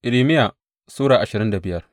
Irmiya Sura ashirin da biyar